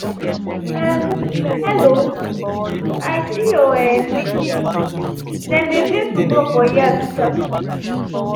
um hello! i see your um pikin dem dey play football for yard this afternoon